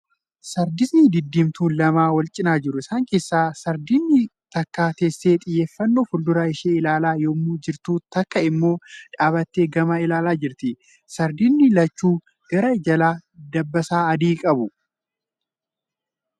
Sardiisni diddiimtuun lama wal cinaa jiru. Isaan keessa sardiidni takka teessee xiyyeeffannoon fuuldura ishee ilaalaa yemmuu jirtu takka immoo dhaabbattee gama ilaalaa jirti. Sardiidni lachuu garaa jalaa dabbasaa adii qabu.